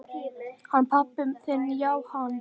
Hann pabbi þinn já, hann.